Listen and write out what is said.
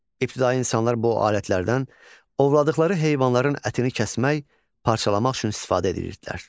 İbtidai insanlar bu alətlərdən ovladıqları heyvanların ətini kəsmək, parçalamaq üçün istifadə edirdilər.